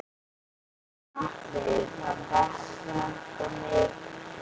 Gunnar Atli: Það ber sem sagt mikið á milli?